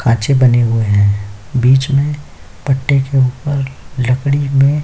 खांचे बने हुए हैं बीच में पट्टे के ऊपर लकड़ी में --